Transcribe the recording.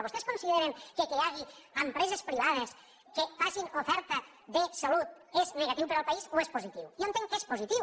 vostès consideren que el fet que hi hagi empreses privades que facin oferta de salut és negatiu per al país o és positiu jo entenc que és positiu